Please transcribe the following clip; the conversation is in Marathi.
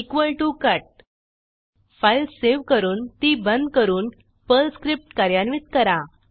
equal T O cut file save करून ती बंद करून पर्ल स्क्रिप्ट कार्यान्वित करा